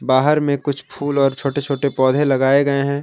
बाहर में कुछ फूल और छोटे छोटे पौधे लगाए गए हैं।